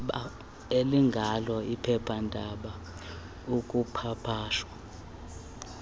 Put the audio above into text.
elingalo iphephandaba ekupapashwa